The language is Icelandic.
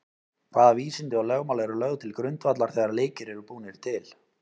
Hvaða vísindi og lögmál eru lögð til grundvallar þegar leikir eru búnir til?